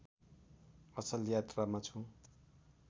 असल यात्रामा छु